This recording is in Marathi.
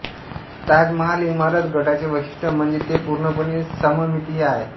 ताजमहाल इमारत गटाचे वैशिष्ट्य म्हणजे ते पूर्णपणे सममितीय आहे